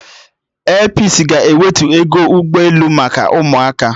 Airpisi ga-ewetu ego ụgbọ elu maka ụmụaka